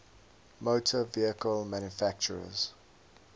motor vehicle manufacturers